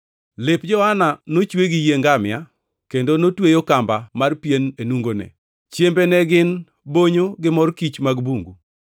Lep Johana nochwe gi yie ngamia, kendo notweyo kamba mar pien e nungone. Chiembe ne gin bonyo gi mor kich mag bungu.